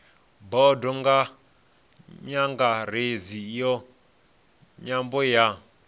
bodo nyangaredzi ya nyambo ya